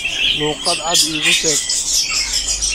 Luuqad cad iigu sheeg.